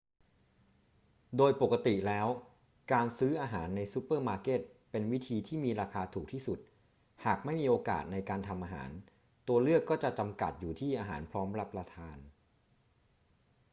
โดยปกติแล้ว การซื้ออาหารในซูเปอร์มาร์เก็ตเป็นวิธีที่มีราคาถูกที่สุด หากไม่มีโอกาสในการทำอาหาร ตัวเลือกก็จะจำกัดอยู่ที่อาหารพร้อมรับประทาน